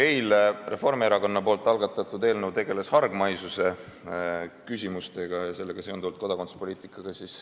Eile Reformierakonna algatatud eelnõu tegeles hargmaisuse küsimustega ja sellega seonduvalt kodakondsuspoliitikaga.